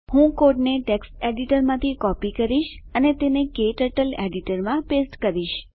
હું કોડને ટેક્સ્ટ એડીટરમાંથી કોપી કરીશ અને તેને ક્ટર્ટલ એડીટરમાં પેસ્ટ કરીશ